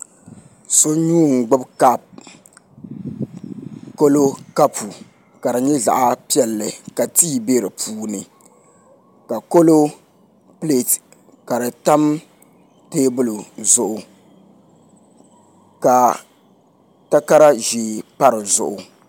So nuu n gbubi kaap kalo kapu ka di nyɛ zaɣ piɛlli ka tii bɛ di puuni ka kolo pileet ka di tam teebuli zuɣu ka takara ʒiɛ pa di zuɣu